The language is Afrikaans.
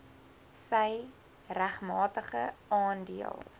sy regmatige aandeel